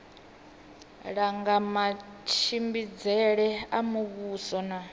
langa matshimbidzele a muvhuso na